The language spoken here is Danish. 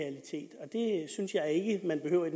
man behøver i